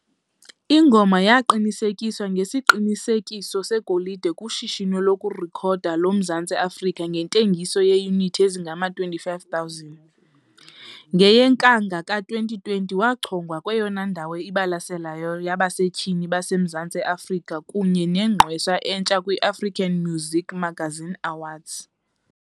Ingoma yaqinisekiswa ngesiqinisekiso segolide kuShishino lokuRekhoda loMzantsi Afrika ngentengiso yeeyunithi ezingama-25 000. NgeyeNkanga ka-2020, wachongwa kweyona ndawo ibalaseleyo yabasetyhini baseMazantsi e-Afrika kunye neNgqwesa eNtsha kwi-African Muzik Magazine Awards.